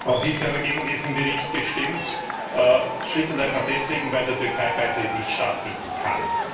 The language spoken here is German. Herr Präsident! Auch ich habe gegen diesen Bericht gestimmt, schlicht und einfach deswegen, weil der Türkei Beitritt nicht stattfinden kann.